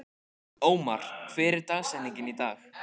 Ómar, hver er dagsetningin í dag?